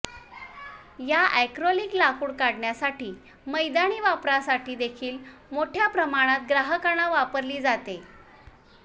या ऍक्रेलिक लाकूड काढण्यासाठी मैदानी वापरासाठी देखील मोठ्या प्रमाणावर ग्राहकांना वापरली जाते